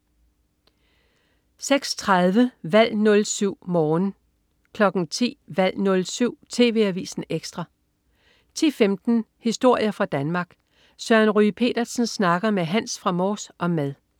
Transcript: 06.30 Valg 07. Morgen 10.00 Valg 07. TV Avisen Ekstra 10.15 Historier fra Danmark. Søren Ryge Petersen snakker med Hans fra Mors om mad